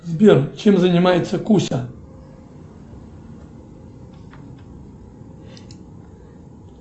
сбер чем занимается куся